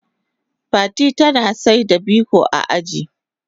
Fati tana saida biko a aji.